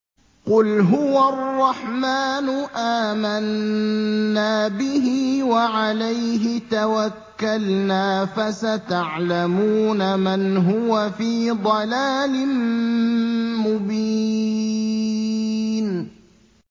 قُلْ هُوَ الرَّحْمَٰنُ آمَنَّا بِهِ وَعَلَيْهِ تَوَكَّلْنَا ۖ فَسَتَعْلَمُونَ مَنْ هُوَ فِي ضَلَالٍ مُّبِينٍ